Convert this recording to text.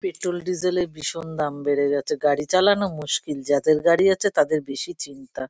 Petrol diesel -এর ভীষণ দাম বেড়ে গেছে। গাড়ি চালানো মুশকিল। যাদের গাড়ি আছে তাদের বেশি চিন্তা।